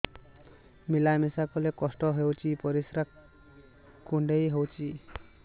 ମିଳା ମିଶା କଲେ କଷ୍ଟ ହେଉଚି ପରିସ୍ରା କୁଣ୍ଡେଇ ହଉଚି